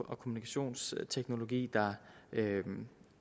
og kommunikationsteknologi der